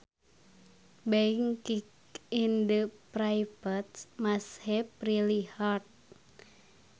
Being kicked in the privates must have really hurt